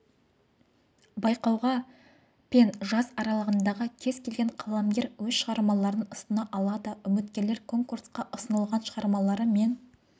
байқауға пен жас аралығындағы кез келген қаламгер өз шығармаларын ұсына алады үміткерлер конкурсқа ұсынылған шығармалары мен